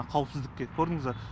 қауіпсіздікке көрдіңіз ба